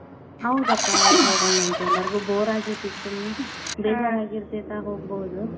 ಹೌದಪ್ಪಾ ಹೌದ್ ಹೋಗೋಣಾಂತ್ ಎಲ್ಲಾರಿಗೂ bore ಆಗೇತಿ ಈಗ್ ಸುಮ್ನ್ ಆಗಿರ್ತೇತಾ ಹೋಗ್ಬೋದ್.